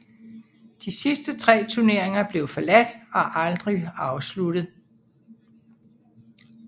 De sidste tre turneringer blev forladt og aldrig afsluttet